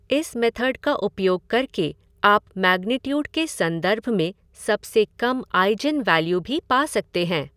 इस मेथड का उपयोग करके आप मैग्नीट्यूड के संदर्भ में सबसे कम ईजेन वैल्यू भी पा सकते हैं।